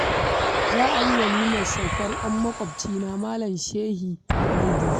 Za a yi walimar saukar 'yar maƙwabcina Malam Shehi mai dusa